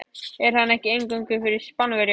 Er hann ekki eingöngu fyrir Spánverja.